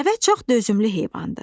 Dəvə çox dözümlü heyvandır.